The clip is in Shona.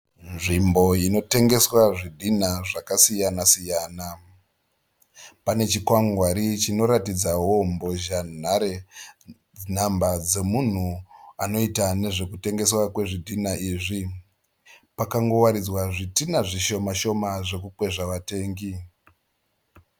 Nzvimbo inotengeswa zvidhinha zvakasiyana siyana. Pane chikwangwari chinoratidzawo mbhozhanhare nhamba dzemunhu anotengesa zvidhinha izvi. Pakangowaridzwa zhidhinha zvishoma shoma zvokukwezva vatengi.